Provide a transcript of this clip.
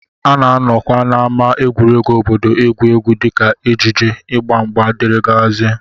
A na-anọkwa n'ámá egwuregwu obodo egwu egwuregwu dịka ejije, ịgba mgba, dgz